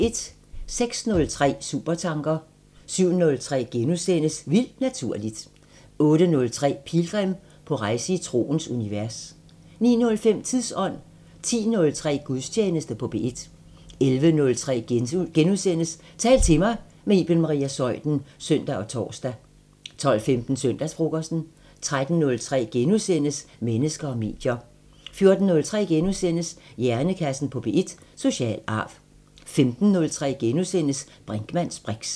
06:03: Supertanker 07:03: Vildt Naturligt * 08:03: Pilgrim – på rejse i troens univers 09:05: Tidsånd 10:03: Gudstjeneste på P1 11:03: Tal til mig – med Iben Maria Zeuthen *(søn og tor) 12:15: Søndagsfrokosten 13:03: Mennesker og medier * 14:03: Hjernekassen på P1: Social arv * 15:03: Brinkmanns briks *